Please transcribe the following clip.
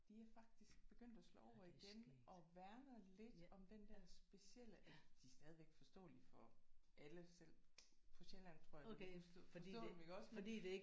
De er faktisk begyndt at slå over igen og værner lidt om den der specielle altså de er stadigvæk forståelige for alle selv på Sjælland tror jeg ville kunne forstå forstå dem iggås men